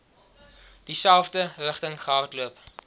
dieselfde rigting gehardloop